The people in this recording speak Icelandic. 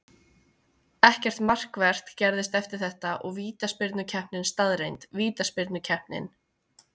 Ekkert markvert gerðist eftir þetta og vítaspyrnukeppni staðreynd. Vítaspyrnukeppnin: